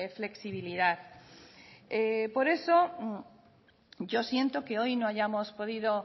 flexibilidad por eso yo siento que hoy no hayamos podido